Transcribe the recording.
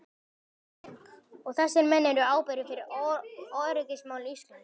Og þessir menn eru ábyrgir fyrir öryggismálum Íslands!